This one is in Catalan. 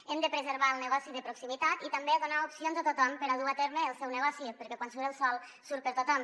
hem de preservar el negoci de proximitat i també donar opcions a tothom per a dur a terme el seu negoci perquè quan surt el sol surt per a tothom